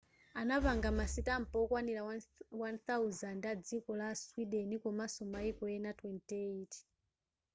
anapanga ma sitampa okwanira 1,000 a dziko la sweden komanso maiko ena 28